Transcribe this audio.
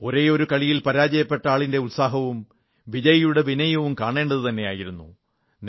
ഒരേയൊരു കളിയിൽ പരാജയപ്പെട്ട ആളിന്റെ ഉത്സാഹവും വിജയിയുടെ വിനയവും കാണേണ്ടതുതന്നെയായിരുന്നു